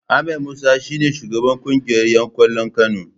Ahmed Musa shi ne shugaban kungiyar ’yan kwallon Kano.